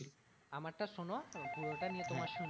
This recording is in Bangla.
আমার টা শোনো পুরোটা নিয়ে তোমার শুনছি।